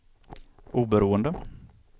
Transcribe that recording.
oberoende